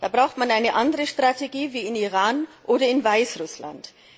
Da braucht man eine andere Strategie als im Iran oder in Weißrussland.